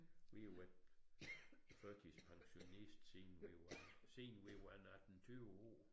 Vi har været førtidspensionist siden vi var siden vi var en 18 20 år